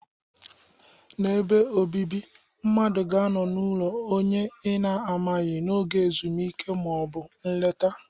N'ebe obibi, mmadụ ga-anọ n'ụlọ onye ị na-amaghị n'oge ezumike ma ọ bụ nleta